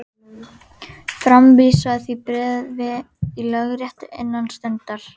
Framvísaðu því bréfi í lögréttu innan stundar.